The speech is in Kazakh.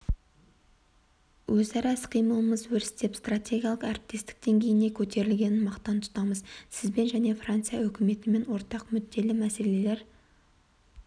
өзара іс-қимылымыз өрістеп стратегиялық әріптестік деңгейіне көтерілгенін мақтан тұтамыз сізбен және франция үкіметімен ортақ мүдделі мәселелер